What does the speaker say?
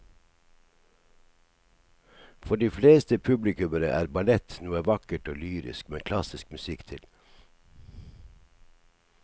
For de fleste publikummere er ballett noe vakkert og lyrisk med klassisk musikk til.